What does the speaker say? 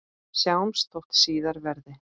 Sjáumst þótt síðar verði.